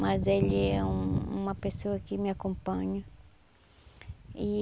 Mas ele é uma pessoa que me acompanha e.